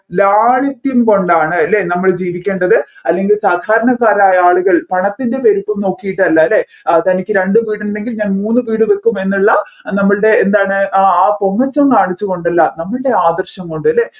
ലാളിത്യം കൊണ്ടാണ് അല്ലെ നമ്മൾ ജീവിക്കേണ്ടത് അല്ലെങ്കിൽ സാധാരണക്കാരായ ആളുകൾ പണത്തിൻെറ വലിപ്പം നോക്കിയിട്ടല്ല അല്ലെ തനിക്ക് രണ്ട് വീടുണ്ടെങ്കിൽ ഞാൻ മൂന്ന് വീട് വെക്കും എന്നുള്ള നമ്മൾടെ എന്താണ് ആ ആ പൊങ്ങച്ചം കാണിച്ചു കൊണ്ടല്ല നമ്മൾടെ ആദർശം കൊണ്ട് അല്ലെ